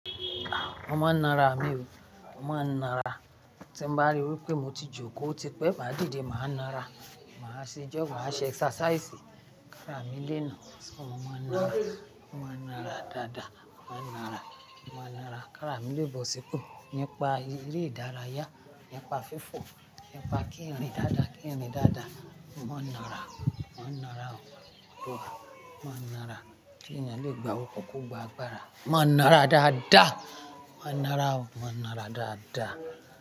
Mo máa ń nara mi o, mo máa ń nara. Tí n bá rí wípé mo ti jókòó, tí pẹ́ máa dìde, màá nara. Màá ṣe jọ́, màá ṣe exercise. Kára mi lé na. Mo máa ń nara, mo máa ń nara dáadáa. Mo máa ń nara, mo máa ń nara kára mi lébo sípò. Nípa eré ìdárayá, nípa fífò, nípa kí n rìn dáadáa, kí n rìn dáadáa. Mo máa ń nara, mo ń nara o, mo máa ń nara. Kí ènìyàn lè gba orúkọ kó gba agbára. Mo máa ń nara dáadáa. Mo máa ń nara o, mo máa ń nara dáadáa.